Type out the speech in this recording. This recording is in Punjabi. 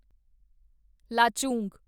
ਲਾਚੁੰਗ